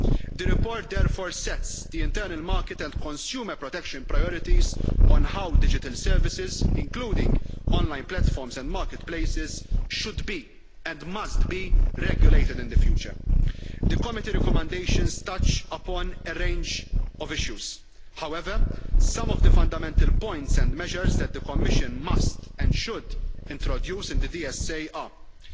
The report therefore sets the internal market and consumer protection priorities on how digital services, including online platforms and marketplaces, should be and must be regulated in the future. The Committee recommendations touch upon a range of issues. However, some of the fundamental points and measures that the Commission must, and should, introduce in the DSA are as follows.